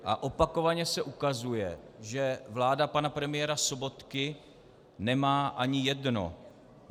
A opakovaně se ukazuje, že vláda pana premiéra Sobotky nemá ani jedno.